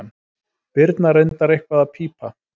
Birna reyndar eitthvað að pípa.